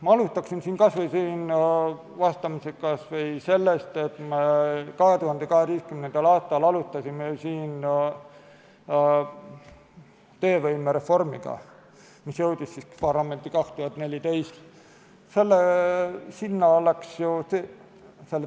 Ma alustan vastamist kas või sellest, et 2012. aastal me alustasime töövõimereformi, mis jõudis parlamenti 2014.